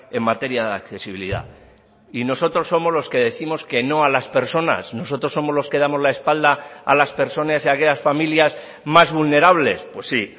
en materia de accesibilidad y nosotros somos los que décimos que no a las personas nosotros somos los que damos la espalda a las personas y a aquellas familias más vulnerables pues sí